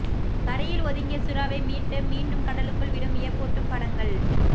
கரையில் ஒதுங்கிய சுறாவை மீட்டு மீண்டும் கடலுக்குள் விடும் வியப்பூட்டும் படங்கள்